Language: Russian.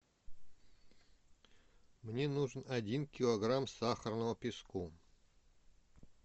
мне нужен один килограмм сахарного песку